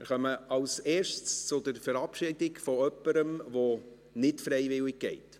Wir kommen als Erstes zur Verabschiedung von jemandem, der nicht freiwillig geht.